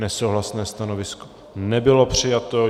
Nesouhlasné stanovisko nebylo přijato.